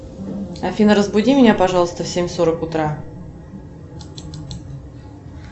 афина разбуди меня пожалуйста в семь сорок утра